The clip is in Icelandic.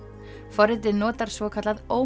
forritið notar svokallað